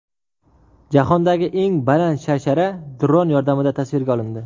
Jahondagi eng baland sharshara dron yordamida tasvirga olindi.